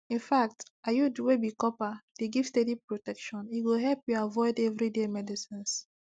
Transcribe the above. infact iud wey be copper dey give steady protection e go help you avoid everyday medicines